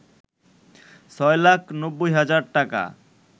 ৬ লাখ ৯০ হাজার টাকা